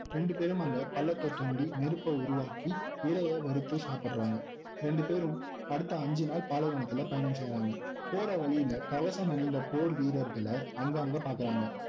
ரெண்டுபேரும் அங்கே பள்ளத்தை தோண்டி நெருப்பை உருவாக்கி இரையை வறுத்து சாப்பிடுறாங்க ரெண்டு பேரும் அடுத்த அஞ்சு நாள் பாலைவனத்தில பயணம் செய்றாங்க போற வழியிலே கவசம் அணிந்த போர் வீரர்களை அங்கங்கே பார்க்குறாங்க